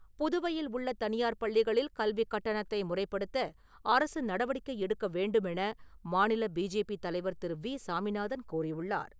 புதுவையில் உள்ள தனியார் பள்ளிகளில் கல்விக் கட்டணத்தை முறைப்படுத்த அரசு நடவடிக்கை எடுக்கவேண்டுமென மாநில பிஜேபி தலைவர் திரு. வி. சாமிநாதன் கோரியுள்ளார்.